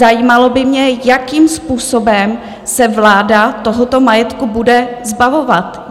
Zajímalo by mě, jakým způsobem se vláda tohoto majetku bude zbavovat.